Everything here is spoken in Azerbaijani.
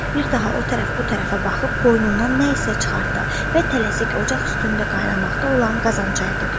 Bir daha o tərəf, bu tərəfə baxıb qoynundan nə isə çıxartdı və tələsik ocaq üstündə qaynamaqda olan qazan çayı tökdü.